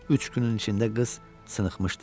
Üç günün içində qız cınıxmışdı.